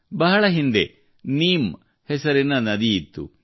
ಬಹಳ ಹಿಂದೆ ನೀಮ್ ಹೆಸರಿನ ನದಿ ಇತ್ತು